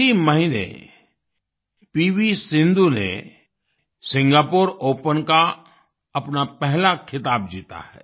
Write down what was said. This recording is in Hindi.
इसी महीने पीवी सिंधू ने सिंगापुर ओपन का अपना पहला ख़िताब जीता है